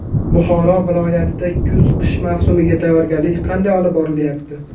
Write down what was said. Buxoro viloyatida kuz-qish mavsumiga tayyorgarlik qanday olib borilyapti?.